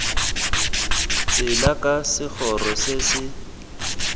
tsela ka segoro se se